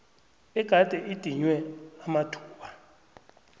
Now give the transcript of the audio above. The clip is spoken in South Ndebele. egade idinywe amathuba